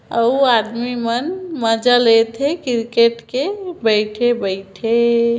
अऊ आदमी मन मज़ा लेते क्रिकेट के बईथे बईथे--